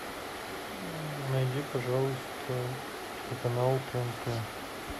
найди пожалуйста телеканал тнт